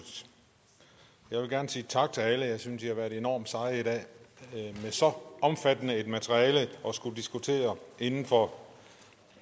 jeg vil gerne sige tak til alle jeg synes at i har været enormt seje i dag med et så omfattende materiale at skulle diskutere inden for